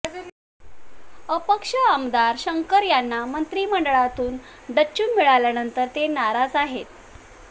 अपक्ष आमदार शंकर यांना मंत्रिमंडळातून डच्चू मिळाल्यानंतर ते नाराज आहेत